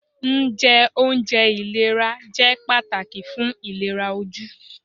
Njẹ ounjẹ ilera jẹ pataki fun ilera oju.